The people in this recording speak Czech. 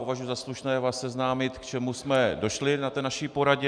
Považuji za slušné vás seznámit, k čemu jsme došli na naší poradě.